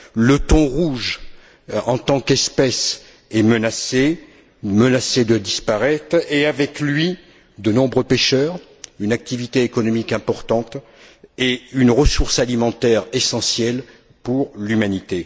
Le thon rouge, en tant qu'espèce, est menacé de disparaître et, avec lui, de nombreux pêcheurs, une activité économique importante et une ressource alimentaire essentielle pour l'humanité.